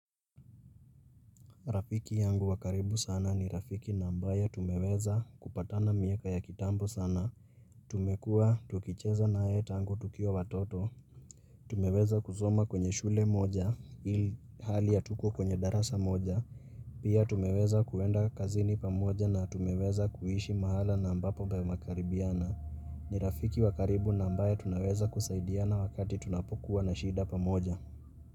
Rafiki yangu wa karibu sana ni rafiki na ambaye tumeweza kupatana mieka ya kitambo sana. Tumekua tukicheza naye tangu tukiwa watoto. Tumeweza kusoma kwenye shule moja ilihali hatukuwa kwenye darasa moja. Pia tumeweza kuenda kazini pamoja na tumeweza kuishi mahala na ambapo pamekaribiana. Ni rafiki wa karibu na ambaye tunaweza kusaidiana wakati tunapokuwa na shida pamoja.